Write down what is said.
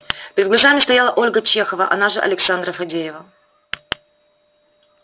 перед глазами стояла ольга чехова она же александра фадеева